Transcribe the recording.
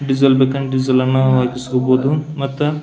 diesel ಬೇಕ್ ಹ್ಯಾಂಗ diesel ನಾವ್ ಹಾಕಿಸ್ಕೊಬಹುದು ಮತ್ತ --